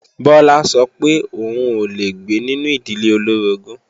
Bọlá sọ pé òun ò lè gbé nínú ìdílé olóorogún